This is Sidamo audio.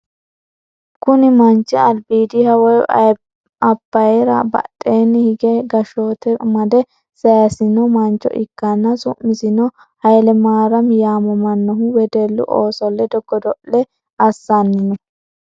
kuni manchi albiidiha woyi abiyira badheenni hige gashshoote amade sayiisino mancho ikkanna, su'misino hayiilemariymi yaamamannohu wedellu ooso ledo godo'le assanni no.